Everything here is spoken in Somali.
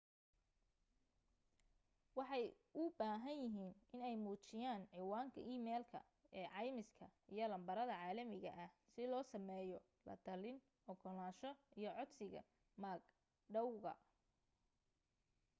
waxay u baahan yihiin inay muujiyaan cinwaanka emailka ee caymiska iyo lambarada caalamiga ah si loo sameeyo la talin/ogolaansho iyo codsiga mag dhawga